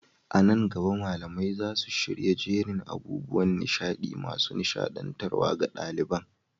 A nan gaba, malamai za su shirya jerin abubuwan nishaɗi masu nishaɗantarwa ga ɗaliban.